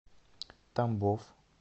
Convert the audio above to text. тамбов